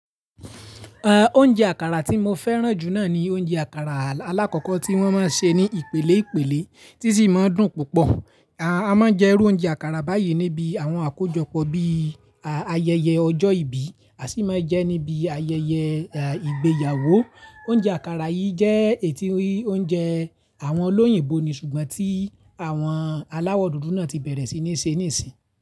Oúnjẹ àkàrà tí mo fẹ́ràn jù náà ni oúnjẹ àkàrà alákọ̀ọ́kọ́ tí wọ́n má ń ṣe ní ìpìlẹ̀ ìpìlẹ̀ tí sì má ń dùn púpọ̀. A má ń jẹ irú oúnjẹ àkàrà báyìí níbi àwọn àkójọpọ̀ bí ayẹyẹ ọjọ́ ìbí, a sì máa ń jẹ níbi ayẹyẹ ìgbéyàwó. Oúnjẹ àkàrà yìí jẹ́ èyí tí oúnjẹ àwọn olóyìnbo ni ṣùgbọ́n tí àwọn aláwọ̀ dúdú náà ti bẹ̀rẹ̀ sí ní ṣe nísì.